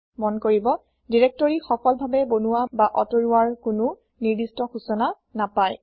মন কৰিব দিৰেক্তৰি সফলভাবে বনুৱা বা আতৰোৱাৰ কোনো নিৰ্দিস্ত সূচনা নাপাই